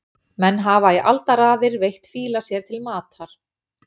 Menn hafa í aldaraðir veitt fíla sér til matar.